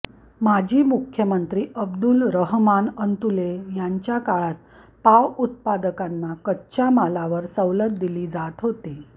माजी मुख्यमंत्री अब्दुल रहमान अंतुले यांच्या काळात पाव उत्पादकांना कच्च्या मालावर सवलत दिली जात होती